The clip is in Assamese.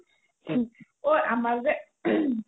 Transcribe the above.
ঐ আমাৰ যে throat